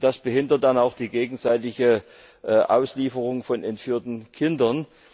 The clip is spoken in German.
Das behindert dann auch die gegenseitige Auslieferung von entführten Kindern.